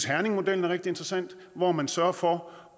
herningmodellen er rigtig interessant hvor man sørger for